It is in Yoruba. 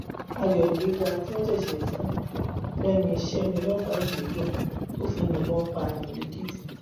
ayọ ìgbéga tí wọn ṣẹṣẹ fún un lẹnu iṣẹ ni ọlọpàá yìí ń yọ tó fi yìnbọn pààyàn lẹkìtì